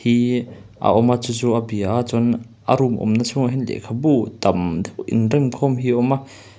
ihh a awma chu chu a bia a chuan a room awmna chhungah hian lehkhabu tam deuh inremkhawm hi a awm a.